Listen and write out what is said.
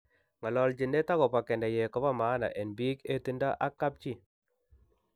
Ngolochinet agobo keneyeek kobo maana en biik hetindo ak kapchi.